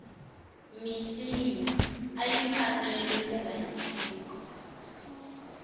minsinya ayi fanele kunga hisiwi